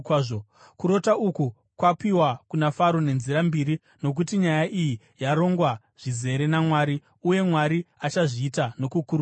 Kurota uku kwapiwa kuna Faro nenzira mbiri nokuti nyaya iyi yarongwa zvizere naMwari, uye Mwari achazviita nokukurumidza.